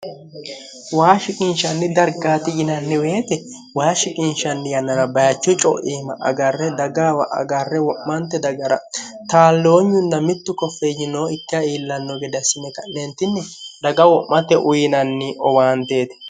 waa shiqiinshanni dargaati yinanniweete waa shiqinshanni yannara bayachu coiima agarre dagaawa agarre wo'mante dagara taalloonyunna mittu koffe yinoo ikka iillanno gedassime ka'neentinni daga wo'mote uyinanni owaanteeti